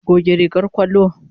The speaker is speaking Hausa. Goge rigar ƙwallo.